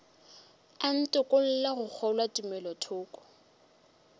a ntokolle go kgolwa tumelothoko